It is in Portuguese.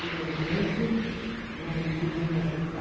Que, de repente, não não podia me aceitar.